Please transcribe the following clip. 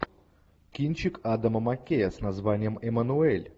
кинчик адама маккея с названием эммануэль